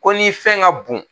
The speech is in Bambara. Ko ni fɛn ka bon